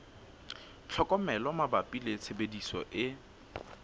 tlhokomelo mabapi le tshebediso e